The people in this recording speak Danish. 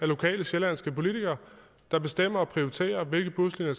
lokale sjællandske politikere der bestemmer og prioriterer hvilke buslinjer